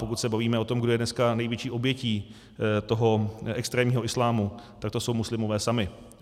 Pokud se bavíme o tom, kdo je dneska největší obětí toho extrémního islámu, tak to jsou muslimové sami.